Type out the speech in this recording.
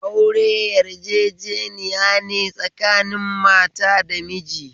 Aure yarjejeniyane tsakanin mata da miji